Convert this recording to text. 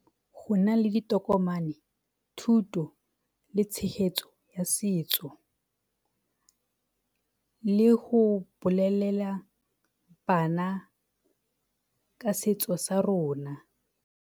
Go nna le ditokomane, thuto le tshegetso ya setso le go bolelela bana ka setso sa rona.